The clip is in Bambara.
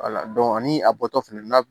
ani a bɔtɔ fana